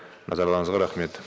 назарларыңызға рахмет